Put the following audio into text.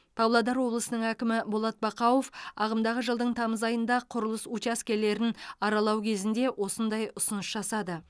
павлодар облысының әкімі болат бақауов ағымдағы жылдың тамыз айында құрылыс учаскелерін аралау кезінде осындай ұсыныс жасады